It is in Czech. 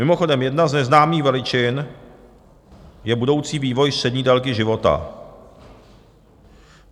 Mimochodem jedna z neznámých veličin je budoucí vývoj střední délky života.